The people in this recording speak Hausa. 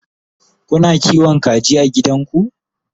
Kuna kiwon kaji a gidanku?